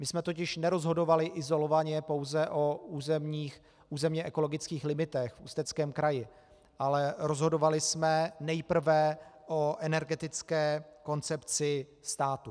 My jsme totiž nerozhodovali izolovaně pouze o územně ekologických limitech v Ústeckém kraji, ale rozhodovali jsme nejprve o energetické koncepci státu.